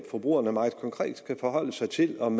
forbrugerne meget konkret skal forholde sig til om